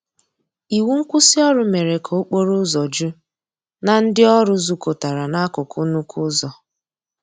Iwụ nkwụsì ọrụ mere ka okporo ụzọ ju na ndi ọrụ zukotara na akụkụ nnukwu ụzọ.